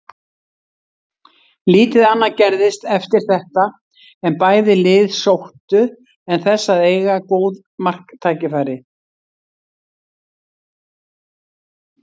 Lítið annað gerðist eftir þetta en bæði lið sóttu en þess að eiga góð marktækifæri.